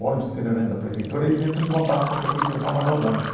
O ônibus itinerante da prefeitura, eles entram em contato com a prefeitura para mandar o ônibus.